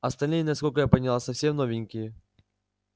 остальные насколько я поняла совсем новенькие